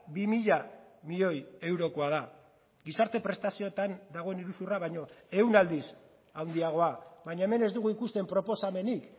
bi mila milioi eurokoa da gizarte prestazioetan dagoen iruzurra baino ehun aldiz handiagoa baina hemen ez dugu ikusten proposamenik